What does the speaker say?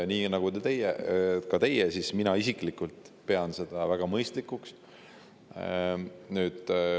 Nii nagu ka teie, pean mina isiklikult seda väga mõistlikuks.